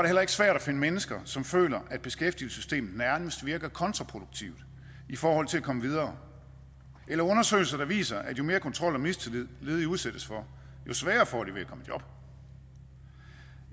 heller ikke svært at finde mennesker som føler at beskæftigelsessystemet nærmest virker kontraproduktivt i forhold til at komme videre eller undersøgelser der viser at jo mere kontrol og mistillid ledige udsættes for jo sværere får de ved i job